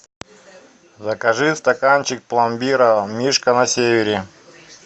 закажи стаканчик пломбира мишка на севере